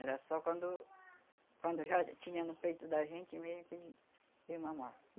Era só quando quando já tinha no peito da gente mesmo que ia mamar.